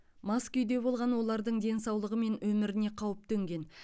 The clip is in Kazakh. мас күйде болған олардың денсаулығы мен өміріне қауіп төнген